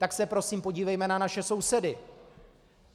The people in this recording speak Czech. Tak se prosím podívejme na naše sousedy.